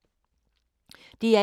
DR1